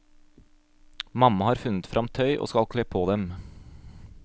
Mamma har funnet fram tøy, og skal kle på dem.